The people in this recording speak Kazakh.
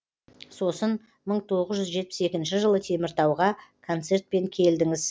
сосын мың тоғыз жүз жетпіс екінші жылы теміртауға концертпен келдіңіз